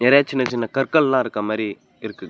சின்ன சின்ன கற்கள் இருக்க மாரி இருக்கு.